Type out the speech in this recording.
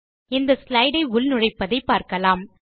ஒரு ஸ்லைடு ஐ உள்நுழைப்பதை பார்க்கலாம்